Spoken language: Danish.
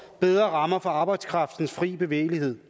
bedre rammer for arbejdskraftens fri bevægelighed